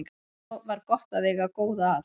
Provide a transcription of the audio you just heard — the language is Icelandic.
Svo var gott að eiga góða að.